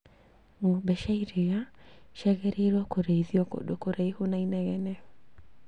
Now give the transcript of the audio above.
Ng'ombe cia iria ciagĩrirwo kũrĩithio kũndũ kuraihu na inegene